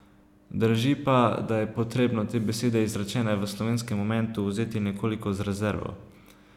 Drži pa, da je potrebno te besede, izrečene v slovesnem momentu, vzeti nekoliko z rezervo.